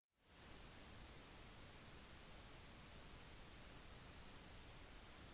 mennesker har kortere hånd enn fot med rettere falanger